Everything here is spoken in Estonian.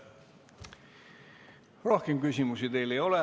Rohkem küsimusi teile ei ole.